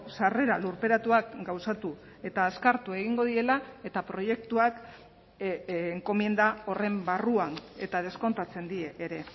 sarrera lurperatuak gauzatu eta azkartu egingo direla eta proiektuak enkomienda horren barruan eta deskontatzen die ere